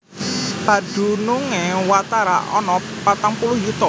Padunungé watara ana patang puluh yuta